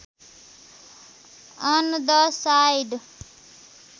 on the side